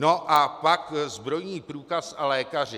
No a pak zbrojní průkaz a lékaři.